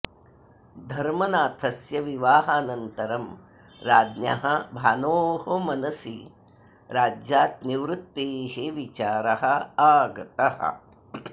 धर्मनाथस्य विवाहानन्तरं राज्ञः भानोः मनसि राज्यात् निवृत्तेः विचारः आगतः